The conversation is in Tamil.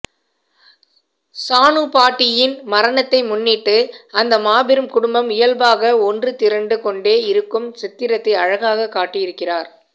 சானுப்பாட்டியின் மரணத்தை முன்னிட்டு அந்த மாபெரும் குடும்பம் இயல்பாக ஒன்றுதிரண்டுகொண்டே இருக்கும் சித்திரத்தை அழகாகக் காட்டியிருக்கிறார்